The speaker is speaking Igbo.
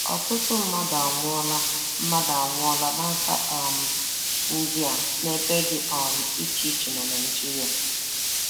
Ọtụtụ mmadụ anwụọla mmadụ anwụọla n'aka um ndị a n'ebe dị um iche iche na Naịjirịa.